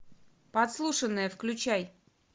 подслушанное включай